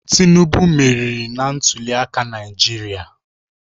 Tinubu meriri na ntuliaka Naijiria